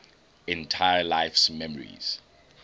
entire life's memories